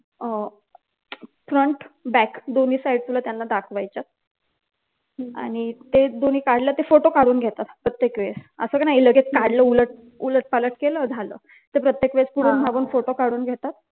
अह front back दोन्ही side तुला त्यांना दाखवायच्यात आणि तेच दोन्ही काढलं कि ते फोटो काढून घेतात प्रत्येक वेळेस असं नाही कि लगेच काढलं उलट उलट पालट केलं झालं तर प्रत्येक वेळेस पुढून मागून फोटो काढून घेतात